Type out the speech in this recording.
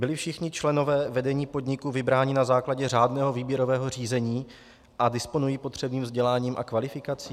Byli všichni členové vedení podniku vybráni na základě řádného výběrového řízení a disponují potřebným vzděláním a kvalifikací?